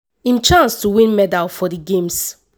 im chance to win medal for di games.